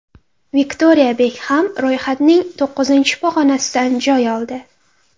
Viktoriya Bekxam ro‘yxatning to‘qqizinchi pog‘onasidan joy oldi.